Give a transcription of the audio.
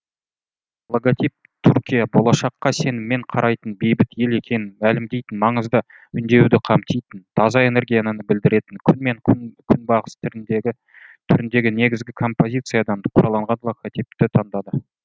логотип түркия болашаққа сеніммен қарайтын бейбіт ел екенін мәлімдейтін маңызды үндеуді қамтитын таза энергияны білдіретін күн мен күнбағыс түріндегі негізгі композициядан құралған логотипті таңдады